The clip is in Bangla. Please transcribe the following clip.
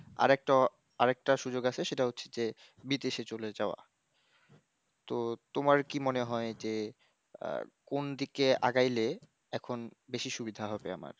আর একটা, আর একটা সুযোগ আছে সেটা হচ্ছে যে বিদেশে চলে যাওয়া, তো তোমার কি মনে হয় যে, আহ কোন দিকে আগাইলে এখন বেশি সুবিধা হবে আমার।